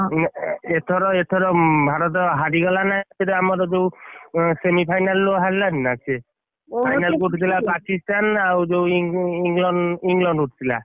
ଏଥର ଏଥର ଭାରତ ହାରିଗଲା ନା ଏଥର ଆମର ଯୋଉ semi final ରୁ ହାରିଲାନି ନା ସିଏ final କୁ ଉଠିଥିଲା ପାକିସ୍ଥାନ ଆଉ ଯୋଉ ଇଂ~ଇଂ~ ଇଂଲଣ୍ଡ ଇଂଲଣ୍ଡ ଉଠିଥିଲା।